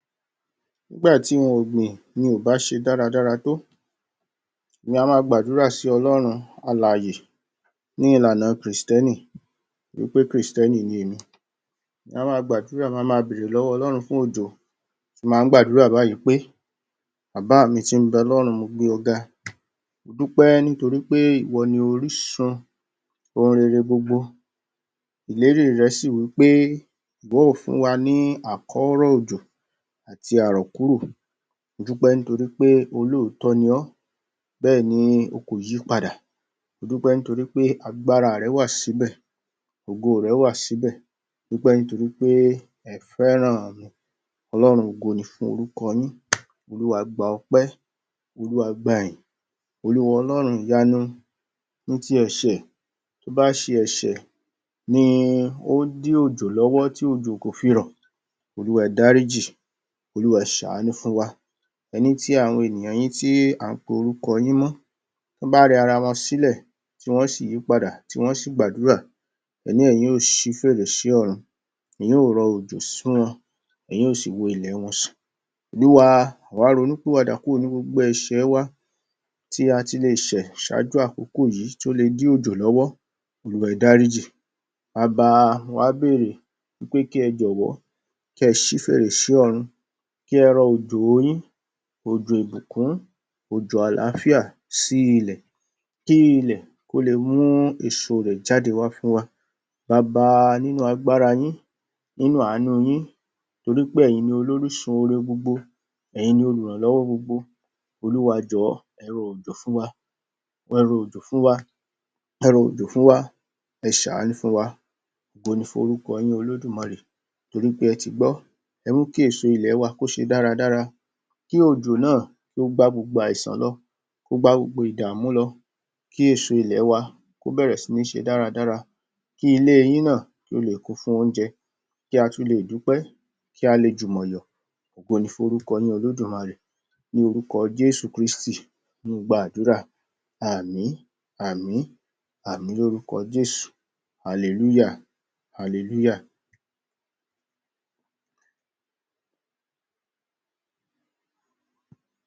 Nígbà tí ohun ọ̀gbìn ò bá ṣe dáradára tó, èmi a máa gbàdúrà sí Ọlọ́run alààyè ní ìlànà kìtẹ́ẹ́nì, torí pé kììtẹ́nì ni èmi. Ma máa gbàdúrà, ma máa bèrè lọ́wọ́ Ọlọ́run fún òjò, tí n bá ń gbàdúrà báyìí pé, Bàbáà mi tí ń bẹ lọ́run mo gbé Ọ ga, mo dúpẹ́ nítorí pé ìwọ ni orísun ohun rere gbogbo, ìlérí rẹ sì wí pé bóò fún wa ní àkọ́rọ̀ òjò àti àrọ̀kúrò. Mo dúpẹ́ nítorí pé olóòótọ́ ni Ọ́, bẹ́ẹ̀ni O kò yípadà, mo dúpẹ́ nitori pé agbára rẹ wà sí'bẹ̀, ògoò Rẹ wà sí'bẹ̀, mo dúpẹ́ nítorí wí pé Ẹ fẹ́ràn mi, Ọlọ́run ògo ni fún orúkọ Yín, Olúwa gba ọpẹ́, Olúwa gba'yìn. Olúwa Ọlọ́run ìyanu ní ti ẹ̀ṣẹ̀, tó bá ṣe ẹ̀ṣẹ̀ ni ó dí òjò lọ́wọ́ tí òjò kò fi rọ̀, Olúwa ẹ dárí jì, Olúwa ẹ ṣàánú fún wa. Ẹní tí àwọn ènìyàn Yín tí à ń pe orúkọ mọ́ tán bá rẹ ara wọn sílẹ̀, tí wọ́n sì yí padà, tí wọ́n sì gbàdúrà. Ẹní Ẹ̀yin yóò ṣí fèrèsé ọ̀run, Ẹ̀yin yóò rọ òjò fún wọn, Ẹ̀yin yóò sì wo ilẹ̀ wọn sàn. Oluwa àwá ronú pìwàdà kúrò ní gbogbo ẹ̀ṣẹ̀ ẹ wa tí a ti leè ṣẹ̀ ṣáájú àkókò yìí tí ó le dí òjò lọ́wọ́, Olúwa ẹ dárí jì. Baba mo wá béèrè wí pé kí Ẹ jọ̀wọ́ kí Ẹ ṣí fèrèsé ọ̀run, kí ẹ rọ òjòo Yín, òjò ìbùkún, òjò àlàáfíà sí ilẹ̀, kí ilẹ̀ kó le mú èèso rẹ̀ jáde wá fún wa Baba nínú agbára Yín, nínú àánú yín, torí pé ẹ̀yin lolórísun oore gbogbo, Ẹ̀yin lolùrànlọ́wọ́ gbogbo. Olúwa jọ̀'ọ́ Ẹ rọ òjò fún wa, Ẹ rọ òjò fún wa, Ẹ rọ òjò fún wa, Ẹ ṣàánú fún wa, ògo ni fún orúkọ yín Olódùmarè, torí pé Ẹ ti gbọ́, Ẹ mú kí èso ilẹ̀ wa kó ṣe dáradára, kí òjò náà kó gba gbogbo àìsàn lọ, kó gbá gbogbo ìdààmú lọ, kí èèso ilẹ̀ẹ wa kó bẹ̀rẹ̀ sí ní ṣe dáradára, kí ilé Yín náà kó leè kún fún oúnjẹ, kí a tún leè dúpẹ́, kí a le jùmọ̀ yọ̀. Ògo ni fún orúkọ Yín Olódùmarè. Ní orúkọ Jéésù kírísì ni mo gba àdúrà. Àmín àmín àmín l'órúkọ Jéésù. Alelúyà Alelúyà.